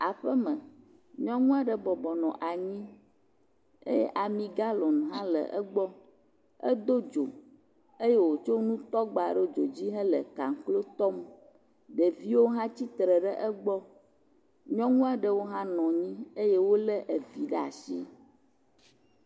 Aƒeme, nyɔnu aɖe bɔbɔ nɔ anyi eye ami galon hã le egbɔ, edo dzo eye wòtsɔ nutɔgba ɖo dzo dzi hele kaklo tɔm. Ɖeviwo hã tsitre ɖe egbɔ, nyɔnu aɖewo hã nɔ anyi eye wole vi ɖe asi